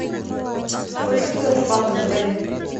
сколько стоит рыбалка в отеле